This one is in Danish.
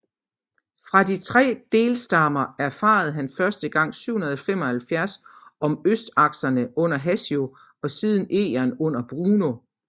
Fra de tre delstammer erfarede han første gang 775 om østsakserne under Hassio og siden om Engern under Bruno